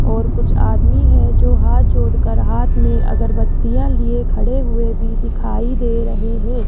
और कुछ आदमी है जो हाथ जोड़कर हाथ मे अगरबत्तियां लिये खड़े हुए भी दिखाई दे रहे है।